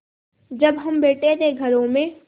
जब हम बैठे थे घरों में